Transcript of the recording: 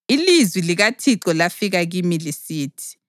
Ilizwi likaThixo lafika kimi lisithi: